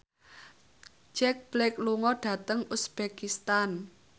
Jack Black lunga dhateng uzbekistan